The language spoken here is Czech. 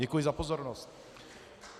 Děkuji za pozornost.